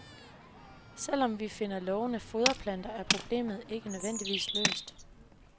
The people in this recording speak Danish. Selv om vi finder lovende foderplanter er problemet ikke nødvendigvis løst.